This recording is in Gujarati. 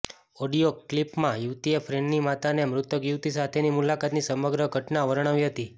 ઓડિયો ક્લિપમાં યુવતીએ ફ્રેન્ડની માતાને મૃતક યુવતી સાથેની મુલાકાતની સમગ્ર ઘટના વર્ણવી હતી